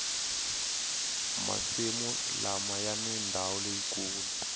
masimu lama yani ndawu leyikulu